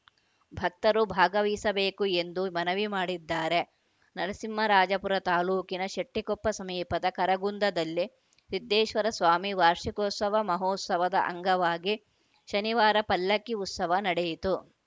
ಭಕ್ತರು ಭಾಗವಹಿಸಬೇಕು ಎಂದು ಮನವಿ ಮಾಡಿದ್ದಾರೆ ನರಸಿಂಹರಾಜಪುರ ತಾಲೂಕಿನ ಶೆಟ್ಟಿಕೊಪ್ಪ ಸಮೀಪದ ಕರಗುಂದದಲ್ಲಿ ಸಿದ್ದೇಶ್ವರಸ್ವಾಮಿ ವಾರ್ಷಿಕೋತ್ಸವ ಮಹೋತ್ಸವದ ಅಂಗವಾಗಿ ಶನಿವಾರ ಪಲ್ಲಕ್ಕಿ ಉತ್ಸವ ನಡೆಯಿತು